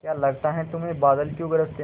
क्या लगता है तुम्हें बादल क्यों गरजते हैं